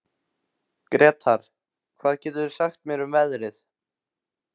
Gretar, hvað geturðu sagt mér um veðrið?